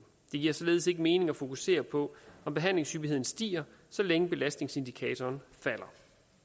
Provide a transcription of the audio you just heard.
det giver således ikke mening at fokusere på om behandlingshyppigheden stiger så længe belastningsindikatoren falder